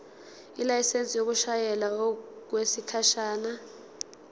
ilayisensi yokushayela okwesikhashana